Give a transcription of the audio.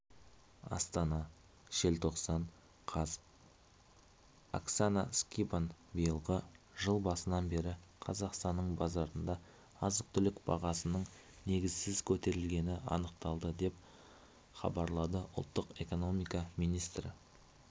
астана желтоқсан қаз оксана скибан биылғы жыл басынан бері қазақстанның базарында азық-түлік бағасының негізсіз көтерілгені анықталды деп хабарлады ұлттық экономика министрі